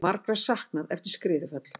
Margra saknað eftir skriðuföll